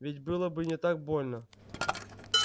ведь было бы не так больно